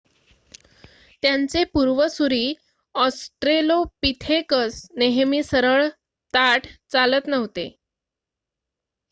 त्यांचे पूर्वसुरी, ऑस्ट्रेलोपिथेकस नेहमी सरळ ताठ चालत नव्हते,